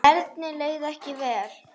Erni leið ekki vel.